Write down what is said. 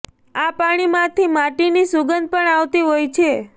આ પાણી માંથી માટી ની સુગંધ પણ આવતી હોય છે